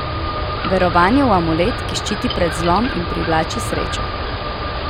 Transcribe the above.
Verovanje v amulet, ki ščiti pred zlom in privlači srečo.